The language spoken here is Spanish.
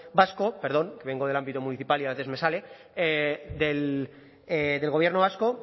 vasco perdón que vengo del ámbito municipal y a veces me sale del gobierno vasco